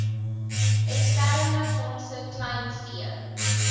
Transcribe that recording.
eksterne fondse kleinvee